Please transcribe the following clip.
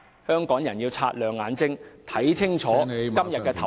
香港人要擦亮眼睛，看清楚......